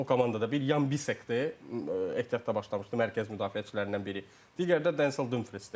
o komandada bir Yan Bisectdir, ehtiyatda başlamışdı, mərkəz müdafiəçilərindən biri, digəri də Denzel Dumfriesdir.